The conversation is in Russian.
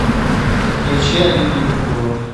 включи алина евкурова